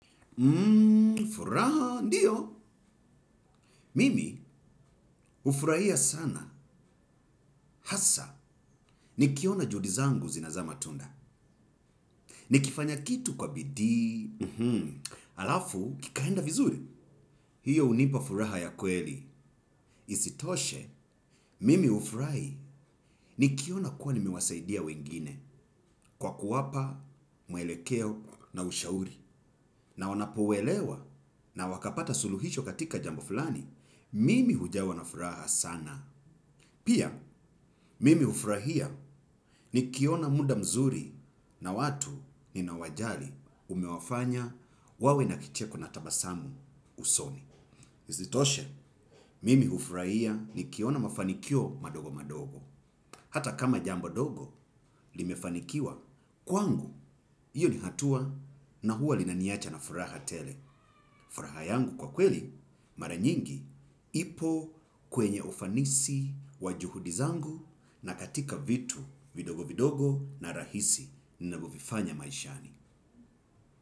Furaha, ndiyo. Mimi, hufurahia sana. Hasa, nikiona juhudi zangu zinazaa matunda. Nikifanya kitu kwa bidii, halafu, kikaenda vizuri. Hiyo hunipa furaha ya kweli. Isitoshe, mimi hufurahi nikiona kuwa nimewasaidia wengine. Kwa kuwapa, mwelekeo na ushauri. Na wanapouelewa na wakapata suluhisho katika jambo fulani, mimi hujawa na furaha sana. Pia, mimi hufurahia nikiona muda mzuri na watu ninawajali umewafanya wawe na kicheko na tabasamu usoni. Isitoshe, mimi hufurahia nikiona mafanikio madogo madogo. Hata kama jambo dogo, limefanikiwa kwangu, hiyo ni hatua na huwa linaniacha na furaha tele. Furaha yangu kwa kweli mara nyingi ipo kwenye ufanisi wa juhudi zangu na katika vitu vidogo vidogo na rahisi ninavyovifanya maishani.